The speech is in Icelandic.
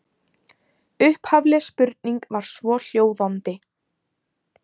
Upphafleg spurning var svohljóðandi: